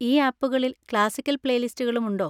ഈ ആപ്പുകളിൽ ക്ലാസിക്കൽ പ്ലേലിസ്റ്റുകളും ഉണ്ടോ?